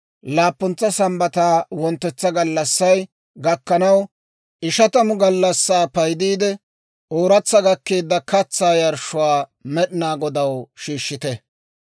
Laappuntsa Sambbataa wonttetsa gallassay gakkanaw, ishatamu gallassaa paydiidde, ooratsa gakkeedda katsaa yarshshuwaa Med'inaa Godaw shiishshite.